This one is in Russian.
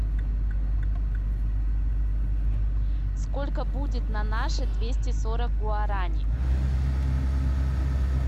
сколько будет на наши двести сорок гуарани